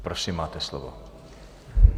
Prosím, máte slovo.